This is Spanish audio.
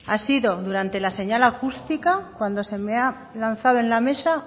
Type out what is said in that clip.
ha sido durante la señal acústica cuando se me ha lanzado en la mesa